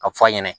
A bɛ fɔ a ɲɛna